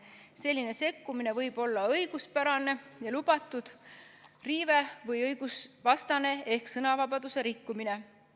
Selline sekkumine võib olla õiguspärane ehk lubatud riive või õigusvastane ehk sõnavabaduse rikkumine.